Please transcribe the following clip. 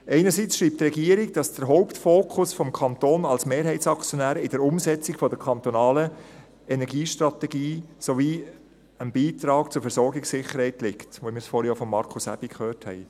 Einerseits schreibt die Regierung, dass der Hauptfokus des Kantons als Mehrheitsaktionär auf der Umsetzung der kantonalen Energiestrategie sowie dem Beitrag zur Versorgungssicherheit liegt, wie wir es vorhin auch von Markus Aebi gehört haben.